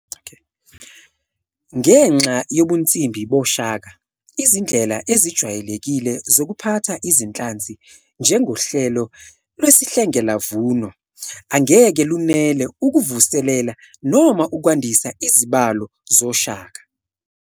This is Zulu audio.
Ngenxa yobunsimbi boShaka, izindlela ezijwayelekile zokuphatha iziNhlanzi, njengohlelo lwesihlengelavuno, angeke lunele ukuvuselela noma ukwandisa izibalo zoShaka.